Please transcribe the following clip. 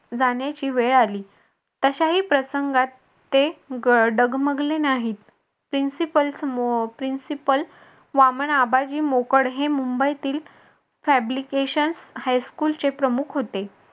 जाण्याची वेळ आली तशाही प्रसंगात ते डगमगले नाही principal समोर principal वामन आबाजी मोकड हे मुंबईतील fabrication high school चे प्रमुख होते.